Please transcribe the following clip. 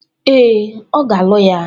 Ee, a ga-alụ ya.